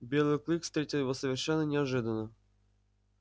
белый клык встретил его совершенно неожиданно